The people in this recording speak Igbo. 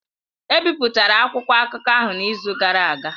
Ebipụtara akwụkwọ akụkọ ahụ n'izu gara aga